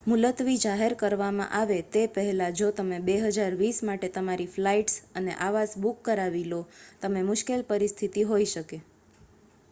મુલતવી જાહેર કરવામાં આવે તે પહેલાં જો તમે 2020 માટે તમારી ફ્લાઇટ્સ અને આવાસ બુક કરાવી લો, તમે મુશ્કેલ પરિસ્થિતિ હોઈ શકે